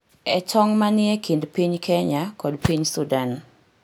e tong’ ma ni e kind piny Kenya kod piny Sudan.